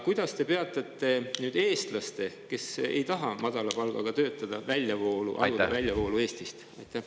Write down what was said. Kuidas te peatate eestlaste, kes ei taha madala palgaga töötada, väljavoolu Eestist?